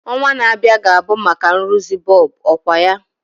Ọnwa na-abịa ga-abụ maka nrụzi bọlbụ, ọkwa ya?